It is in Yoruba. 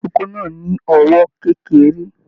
Ìkókó náà ni ọwọ kékeré.